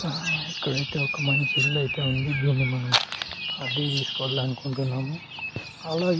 ఆ ఇక్కడైతే ఒక మంచి ఇల్లు అయితే ఉంది. దీన్ని మనం అద్దెకి తీసుకోవాలనుకుంటున్నాము అలాగే --